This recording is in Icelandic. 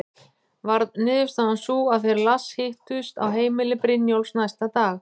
Varð niðurstaðan sú að þeir Lars hittust á heimili Brynjólfs næsta dag.